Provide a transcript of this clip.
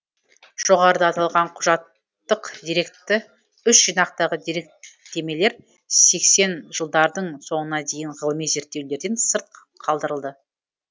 жоғарыда аталған құжаттык деректі үш жинақтағы деректемелер сексен жылдардың соңына дейін ғылыми зерттеулерден сырт қалдырылды